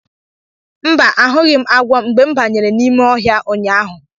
Mba, ahụghị m agwọ mgbe m banyere n'ime ọhịa ụnyaahụ.